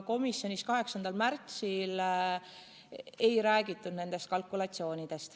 Komisjonis 8. aprillil ei räägitud nendest kalkulatsioonidest.